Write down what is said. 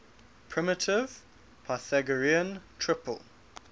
primitive pythagorean triple